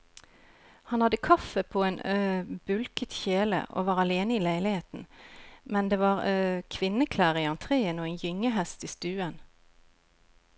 Han hadde kaffe på en bulket kjele og var alene i leiligheten, men det var kvinneklær i entreen og en gyngehest i stuen.